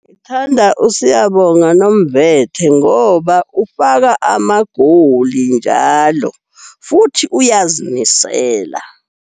Ngithanda uSiyabonga Nomvete ngoba ufaka amagoli njalo futhi uyazimisela.